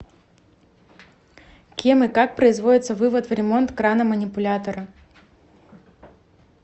кем и как производится вывод в ремонт крана манипулятора